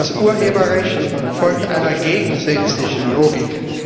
Das Urheberrecht folgt einer gegensätzlichen Logik.